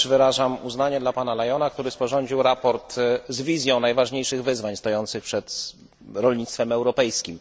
Też wyrażam uznanie dla pana Lyona, który sporządził sprawozdanie z wizją najważniejszych wyzwań stojących przed rolnictwem europejskim.